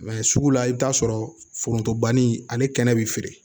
sugu la i bɛ t'a sɔrɔ foronto banni ani kɛnɛ bɛ feere